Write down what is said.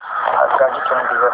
आगगाडी चंदिगड ते लुधियाना